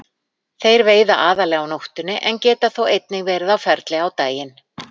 Þeir veiða aðallega á nóttunni en geta þó einnig verið á ferli á daginn.